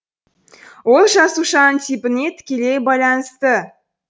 ол жасушаның типіне тікелей байланысты